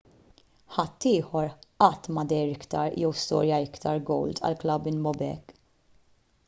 ħadd ieħor qatt ma deher iktar jew skorja iktar gowls għall-klabb minn bobek